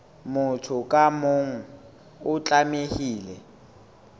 motho ka mong o tlamehile